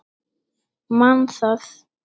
Man það.